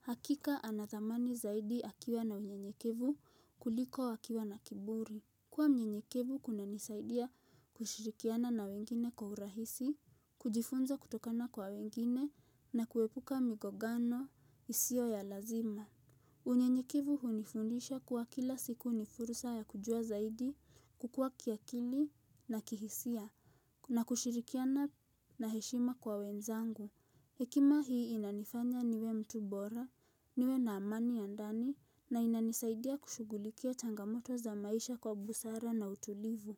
Hakika ana thamani zaidi akiwa na unyenyekevu kuliko akiwa na kiburi. Kuwa mnyenyekevu kuna nisaidia kushirikiana na wengine kwa urahisi, kujifunza kutokana kwa wengine na kuepuka migogano isio ya lazima. Unyenyekevu unifundisha kuwa kila siku ni fursa ya kujua zaidi, kukua kiakili na kihisia na kushirikiana na heshima kwa wenzangu. Hekima hii inanifanya niwe mtu bora, niwe na amani ya ndani na inanisaidia kushugulikia changamoto za maisha kwa busara na utulivu.